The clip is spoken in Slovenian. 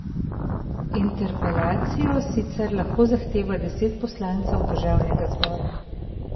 Interpelacijo sicer lahko zahteva deset poslancev državnega zbora.